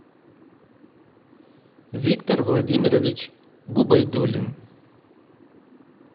виктор владимирович губайдуллин